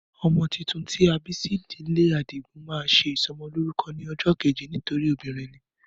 Ọmọ tuntun tí a bí sí ìdílé Àdìgún, má ṣe ìsọmọ lórúko ní ojó keje nítorí ọmọbìnrin ni